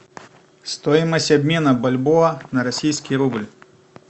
стоимость обмена бальбоа на российский рубль